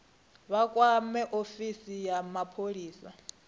vha kwame ofisi ya mapholisa